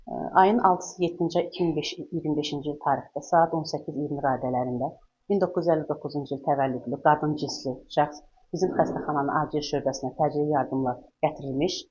Ayın 6-sı, 7-ci ay 2005-ci il tarixdə saat 18:20 radələrində 1959-cu il təvəllüdlü qadın cinsli şəxs bizim xəstəxananın açıq şöbəsinə təcili yardımla gətirilmiş.